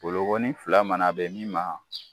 Bolonkɔnin fila mana bɛ min ma.